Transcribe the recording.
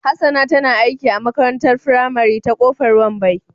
Hassana tana aiki a makarantar firamare ta Kofar Wambai